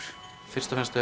fyrst og fremst